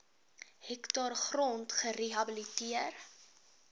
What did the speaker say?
hektaar grond gerehabiliteer